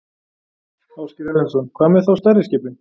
Ásgeir Erlendsson: Hvað með þá stærri skipin?